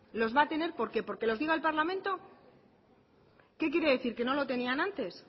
los va a tener por qué porque lo diga el parlamento qué quiere decir que no lo tenían antes